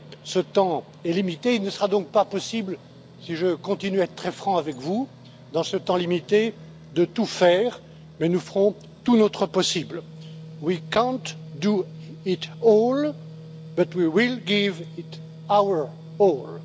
Ce temps est limité, il ne sera donc pas possible, si je continue à être très franc avec vous, dans ce temps limité, de tout faire, mais nous ferons tout notre possible. We can't do it all, but we will give it our